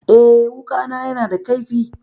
Eh, wuƙana yana da kaifi.